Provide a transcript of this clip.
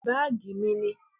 Báàgí mí ni.